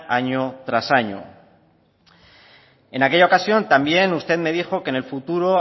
año tras año en aquella ocasión también usted me dijo que en el futuro